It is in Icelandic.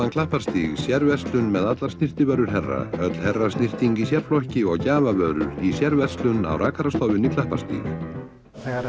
Klapparstíg sérverslun með allar snyrtivörur herra öll herrasnyrting í sérflokki og gjafavörur í sérverslun á rakarastofu Klapparstíg þegar